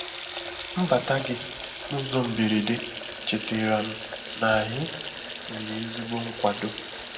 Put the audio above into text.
Mbata gị n’ụzọ mberede chetara m na anyị nwere ezigbo nkwàdọ.